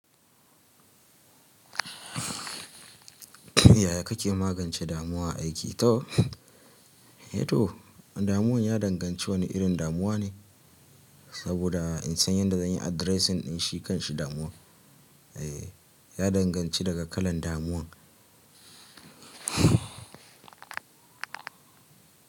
Yaya kake magance damuwa a aiki? To, damuwan ya danganci wane irin damuwa ne, saboda in san yadda zan yi addressing din shi kan shi damuwa. Ya danganci daga kalan damuwan.